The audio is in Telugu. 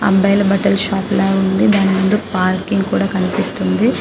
బాయిల బట్టల షాప్ లాగా ఉంది దాని ముందు పార్కింగ్ కూడా కనిపిస్తుంది